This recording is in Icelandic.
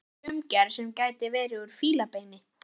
Gleraugu í umgerð sem gæti verið úr fílabeini.